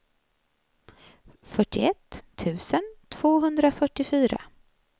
fyrtioett tusen tvåhundrafyrtiofyra